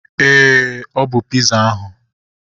Éè, ọ bụ piza ahu